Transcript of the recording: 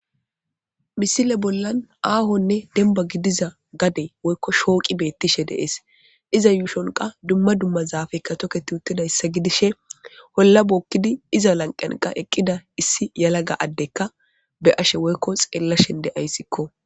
misile bollan aahonne demba gidiza gade woykko shooqi beettishe dees iza yuushonqa dumma dumma zaafekka toketi uttidayssa gidishe holla bookkidi iza lanqanqa eqqida issi yalaga addekka be ashe woykko xeella shende ayssikko